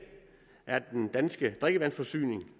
er at den danske drikkevandsforsyning